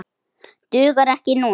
Dugar ekki núna.